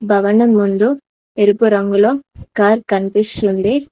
భవనం ముందు ఎరుపు రంగులో కార్ కనిపిస్తుంది.